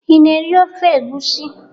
Ị na-eri ofe egwusi?